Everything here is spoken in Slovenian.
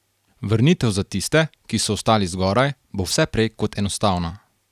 Vrnitev za tiste, ki so ostali zgoraj, bo vse prej kot enostavna.